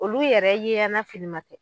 Olu yɛrɛ ye yana filiman tɛ.